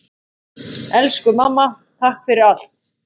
Elsku mamma, takk fyrir allt.